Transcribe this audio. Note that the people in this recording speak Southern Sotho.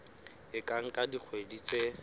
e ka nka dikgwedi tse